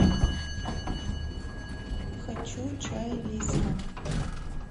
хочу чай лисма